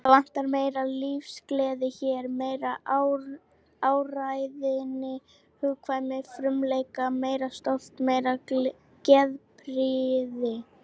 Það vantar meiri lífsgleði hér, meiri áræðni, hugkvæmni, frumleika, meira stolt, meiri geðprýði.